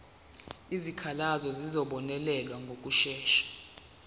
izikhalazo zizobonelelwa ngokushesha